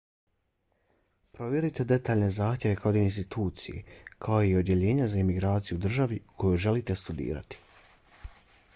provjerite detaljne zahtjeve kod institucije kao i odjeljenja za imigraciju u državi u kojoj želite studirati